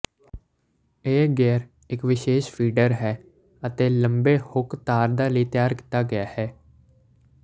ਇਹ ਗੇਅਰ ਇੱਕ ਵਿਸ਼ੇਸ਼ ਫੀਡਰ ਹੈ ਅਤੇ ਲੰਬੇ ਹੁੱਕ ਧਾਰਦਾ ਲਈ ਤਿਆਰ ਕੀਤਾ ਗਿਆ ਹੈ